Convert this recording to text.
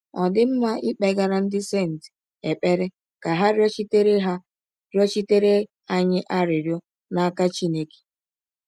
Ọ̀ dị mma ịkpegara “ ndị senti ” ekpere ka ha rịọchitere ha rịọchitere anyị arịrịọ n’aka Chineke?